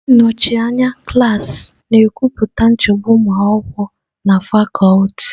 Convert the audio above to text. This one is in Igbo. Ndị nnọchi anya klaasị na-ekwupụta nchegbu ụmụ akwụkwọ na fakuti.